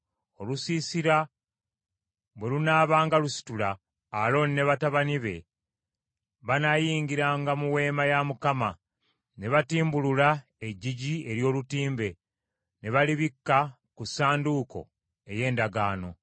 Olusiisira bwe lunaabanga lusitula, Alooni ne batabani be banaayingirangamu, ne batimbulula eggigi ery’olutimbe ne balibikka ku Ssanduuko ey’Endagaano.